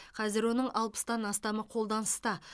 қазір оның алпыстан астамы қолданыста